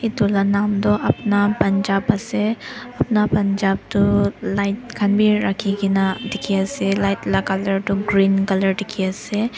Etu la naam tuh Apna Punjab ase Apna Punjab tuh light khan bhi rakhikena dekhey ase light la colour tuh green colour dekhey ase.